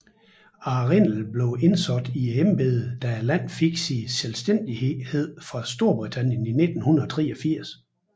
Arrindell blev indsat i embedet da landet fik sin selvstændighed fra Storbritannien i 1983